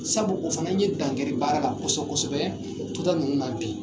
Sabu o fana ye dangɛri baara la kosɛbɛ kosɛbɛ ninnu na bi.